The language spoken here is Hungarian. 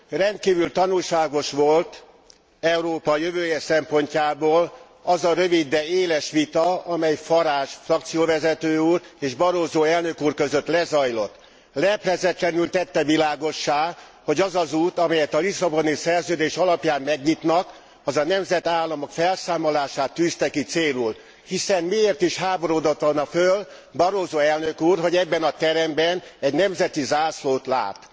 Rendkívül tanulságos volt Európa jövője szempontjából az a rövid, de éles vita, amely Farage frakcióvezető úr és Barroso elnök úr között lezajlott. Leplezetlenül tette világossá, hogy az az út, amelyet a Lisszaboni Szerződés alapján megnyitnak, az a nemzetállamok felszámolását tűzte ki célul, hiszen miért is háborodott volna föl Barroso elnök úr, hogy ebben a teremben egy nemzeti zászlót lát.